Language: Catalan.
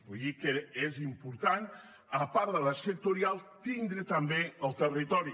vull dir que és important a part de la sectorial tindre hi també el territori